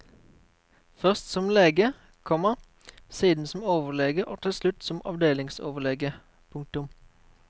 Først som lege, komma siden som overlege og til slutt som avdelingsoverlege. punktum